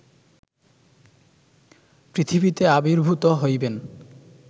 পৃথিবীতে আবির্ভূত হইবেন